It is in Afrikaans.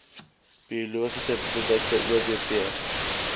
biologiese produkte obp